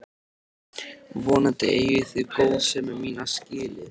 Vonandi eigið þið góðsemi mína skilið.